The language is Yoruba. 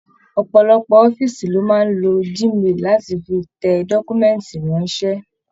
Ọpọlọpọ ọ̀fiísí ni o máa n lo Gmail láti fí tẹ dọkumẹ̀ntí ránṣẹ.